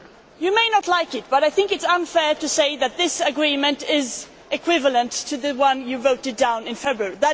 You may not like it, but I think it is unfair to say that this agreement is equivalent to the one you voted down in February.